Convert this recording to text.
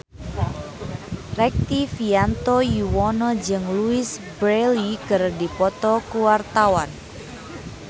Rektivianto Yoewono jeung Louise Brealey keur dipoto ku wartawan